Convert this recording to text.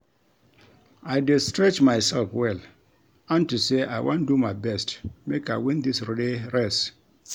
I dey stretch myself well unto say I wan do my best make I win dis relay race